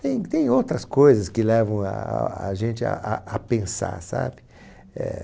Tem tem outras coisas que levam a gente a a a pensar, sabe? É...